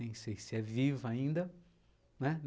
Nem sei se é viva ainda, né?